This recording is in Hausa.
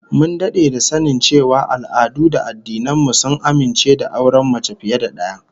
Mun dade da sanin cewa al'adu da addinan mu sun amince da auren mace fiye da daya